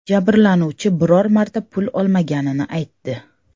Jabrlanuvchi biror marta pul olmaganini aytdi.